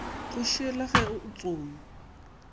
go šiela ge o tsoma